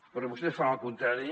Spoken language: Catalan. però vostès fan el contrari